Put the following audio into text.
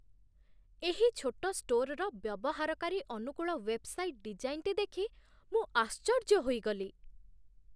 ଏହି ଛୋଟ ଷ୍ଟୋର୍‌ର ବ୍ୟବହାରକାରୀ ଅନୁକୂଳ ୱେବ୍‌ସାଇଟ୍‌ ଡିଜାଇନ୍‌ଟି ଦେଖି ମୁଁ ଆଶ୍ଚର୍ଯ୍ୟ ହୋଇଗଲି।